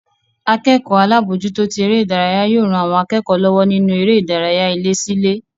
Akẹ́kọ̀ọ́ alábòójútó tí eré ìdárayá yóò ran àwọn akẹ́kọ̀ọ́ lọ́wọ́ nínú eré ìdárayá ilé sí ilé